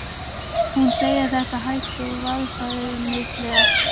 Hún segir þetta hægt og varfærnislega.